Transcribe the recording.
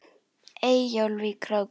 Eyjólf í Króki.